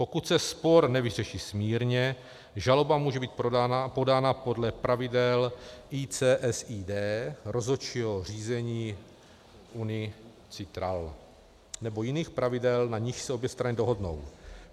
Pokud se spor nevyřeší smírně, žaloba může být podána podle pravidel ICSID, rozhodčího řízení UNCITRAL nebo jiných pravidel, na nichž se obě strany dohodnou.